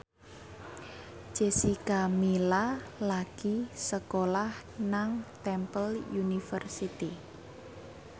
Jessica Milla lagi sekolah nang Temple University